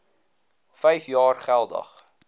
vyf jaar geldig